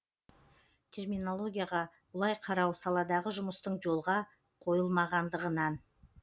терминологияға бұлай қарау саладағы жұмыстың жолға қойылмағандығын